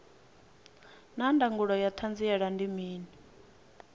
naa ndangulo ya hanziela ndi mini